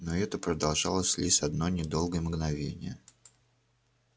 но это продолжалось лишь одно недолгое мгновение